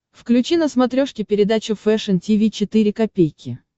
включи на смотрешке передачу фэшн ти ви четыре ка